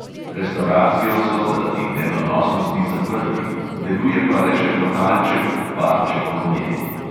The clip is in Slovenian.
Restavracijo so zaradi nedonosnosti zaprli, deluje pa le še lokalček – barček ob njej.